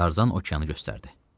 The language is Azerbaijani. Tarzan okeanı göstərdi.